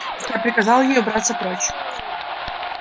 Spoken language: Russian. я приказал ей убраться прочь